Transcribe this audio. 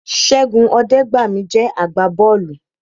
Ṣẹ́gun Ọdẹgbami jẹ́ àgbà bọ́ọ̀lù